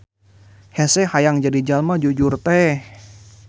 Hese hayang jadi jalma jujur teh